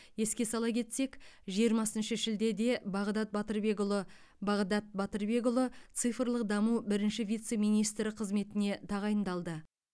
еске сала кетсек жиырмасыншы шілдеде бағдат батырбекұлы бағдат батырбекұлы цифрлық даму бірінші вице министрі қызметіне тағайындалды